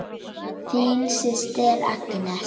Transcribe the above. Þín systir Agnes.